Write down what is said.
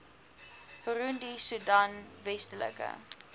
burundi soedan westelike